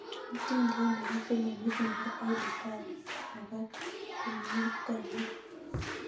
Hatindaniat nebo filimit nebo edie gathie nebo konegit ko ainon